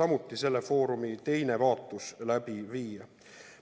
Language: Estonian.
samuti selle foorumi teine vaatus läbi viia.